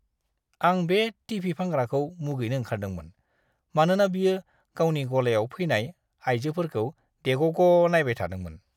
आं बे टि.भि. फानग्राखौ मुगैनो ओंखारदोंमोन, मानोना बियो गावनि गलायाव फैनाय आइजोफोरखौ देग'ग' नायबाय थादोंमोन!